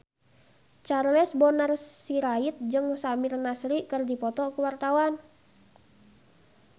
Charles Bonar Sirait jeung Samir Nasri keur dipoto ku wartawan